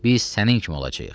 Biz sənin kimi olacağıq.